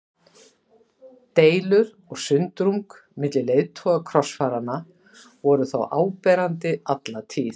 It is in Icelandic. Deilur og sundrung milli leiðtoga krossfaranna voru þó áberandi alla tíð.